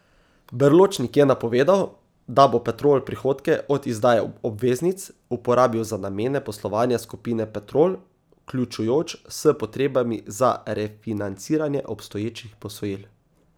Berločnik je napovedal, da bo Petrol prihodke od izdaje obveznic uporabil za namene poslovanja skupine Petrol, vključujoč s potrebami za refinanciranje obstoječih posojil.